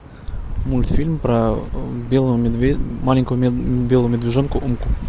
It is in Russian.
мультфильм про белого медведя маленького белого медвежонка умку